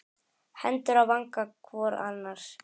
Hendur á vanga hvor annars.